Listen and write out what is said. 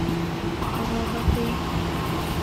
роботы